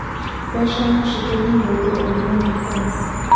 mbeca nocitũme mũndu aumwo nĩ ngoma